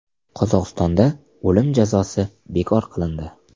Qozog‘istonda o‘lim jazosi bekor qilindi.